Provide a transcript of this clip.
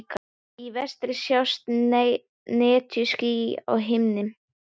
Í vestri sjást netjuský á himni.